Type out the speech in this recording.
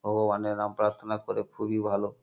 ও অনেক রাম প্রার্থনা করে খুবই ভালো।